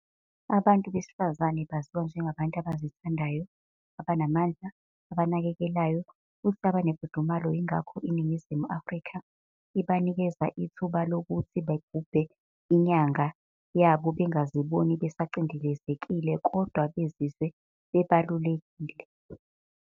Abantu Besifazane baziwa njengabantu abazithandayo, abanamandla, abanakekelayo futhi abane mfudumalo yingakhoke iNingizimu afrika ibanikeza ithuba lokhu sigubhe inyanga yaba bengaziboni besa cindezelekile kodwa bezizwe bebalulekile.